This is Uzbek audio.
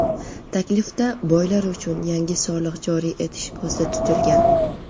Taklifda boylar uchun yangi soliq joriy etish ko‘zda tutilgan.